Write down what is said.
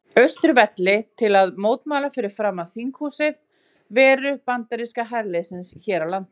Austurvelli til að mótmæla fyrir framan þinghúsið veru bandaríska herliðsins hér á landi.